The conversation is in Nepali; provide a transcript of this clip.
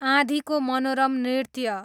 आँधीको मनोरम नृत्य